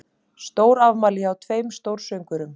Stórafmæli hjá tveimur stórsöngvurum